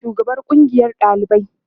ana da shugaban kungiyan ɗalibai